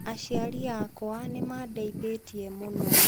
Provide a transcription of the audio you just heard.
Aciari akwa nĩ maandeithirie mũno.